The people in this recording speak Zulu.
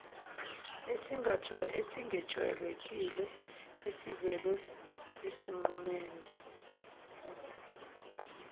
esingejwayelekile esivele esinqumeni